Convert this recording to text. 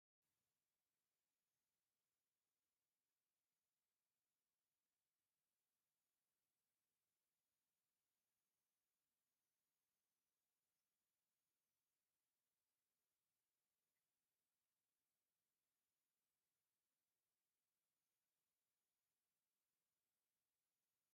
7 ማሽናት ሎተሪ ኣብ መድረኽ ደው ኢለን ኣብ ምክያድ ይረኣያ። ኣብ ቅድሚት ኮፍ ኢሎም ዘለዉ ሰባት ዕጫ ሎተሪ ይዕዘቡ ኣለዉ። ኣብ ላዕሊ ድማ ኣርማ ባንኪ ኣቢሲንያ ይርአ። እዚ ድማ ናይ ሓጎስን ዓወትን ስምዒት የለዓዕል።